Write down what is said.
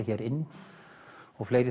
hér inn og fleira